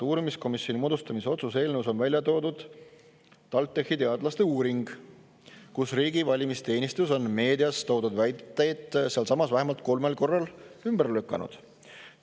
Uurimiskomisjoni moodustamise otsuse eelnõus on välja toodud TalTechi teadlaste uuring, aga riigi valimisteenistus on meedias toodud väiteid sealsamas vähemalt kolmel korral ümber lükanud.